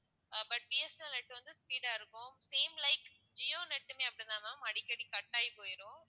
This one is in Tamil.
Ah but B. S. N. L net வந்து speed ஆ இருக்கும் same like ஜியோ net உமே அப்படித்தான் ma'am அடிக்கடி cut ஆகி போயிரும்